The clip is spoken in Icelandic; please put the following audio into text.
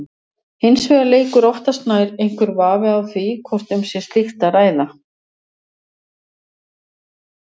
Hins vegar leikur oftast nær einhver vafi á því hvort um slíkt sé að ræða.